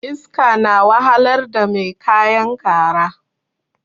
Iska na wahalar da mai kayan kara